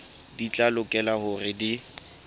di tla lokela hore di